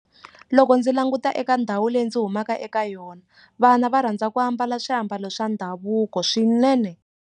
Loko ndzi languta eka ndhawu leyi ndzi humaka eka yona vana va rhandza ku ambala swiambalo swa ndhavuko swinene.